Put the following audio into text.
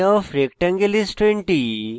area of rectangle is 20